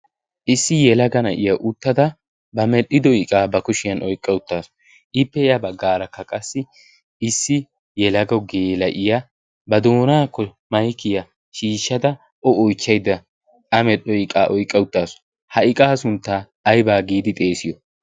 issi yelaga na'iya uttada ba medhdhido iqaa ba kushiyan oiqqa uttaasu ippeeya baggaarakka qassi issi yelago geela'iya ba doonaa k maikiya shiishshada o oichchaida a medhdho iqaa oyqqa uttaasu ha iqaa sunttaa aybaa giidi xeesiyo